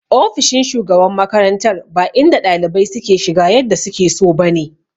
Ofishin shugaban makarantar ba inda ɗalibai suke shiga yadda suke so ba ne.